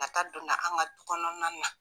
A ka donna an ka du kɔnɔna na.